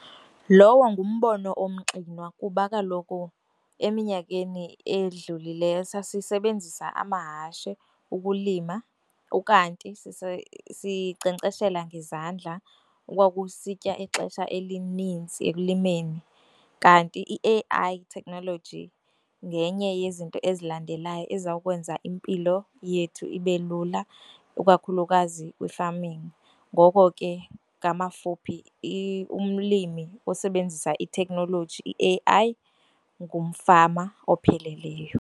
Lowo ngumbono omxinwa kuba kaloku eminyakeni edlulileyo sasisebenzisa amahashe ukulima ukanti sinkcenkceshela ngezandla okwakusitya ixesha elininzi ekulimeni. Kanti i-A_I technology ngenye yezinto ezilandelayo eza kwenza impilo yethu ibe lula ikakhulukazi kwi-farming. Ngoko ke, ngamafuphi umlimi osebenzisa itheknoloji i-A_I ngumfama opheleleyo.